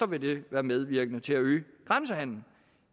vil det være medvirkende til at øge grænsehandelen